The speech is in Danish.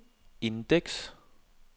indeks